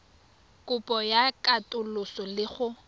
kopo ya katoloso le go